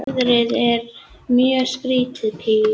Þú stendur þig vel, Pía!